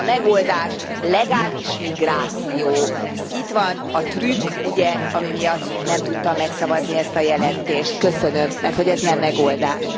Mi a megoldás? Legális migráció. Itt van a trükk, ami miatt nem tudtam megszavazni ezt a jelentést. Köszönöm! Merthogy ez nem megoldás.